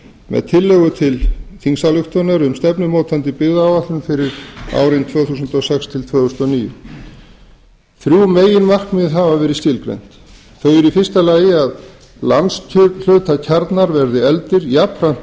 með tillögu til þingsályktunar um stefnumótandi byggðaáætlun fyrir árin tvö þúsund og sex til tvö þúsund og níu þrjú meginmarkmið hafa verið skilgreind þau eru í fyrsta lagi að landshlutakjarnar verði efldir jafnframt